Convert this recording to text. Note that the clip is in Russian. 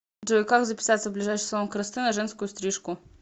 джой как записаться в ближайший салон красоты на женскую стрижку